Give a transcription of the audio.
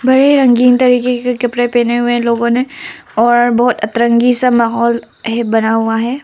रंगीन तरीके के कपड़े पहने हुए लोगों ने और बहोत अतरंगी सा माहौल बना हुआ है।